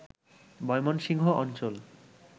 ময়মনসিংহ অঞ্চল